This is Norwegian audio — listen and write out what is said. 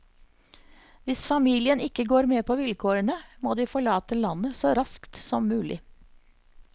Hvis familien ikke går med på vilkårene, må de forlate landet så raskt som mulig.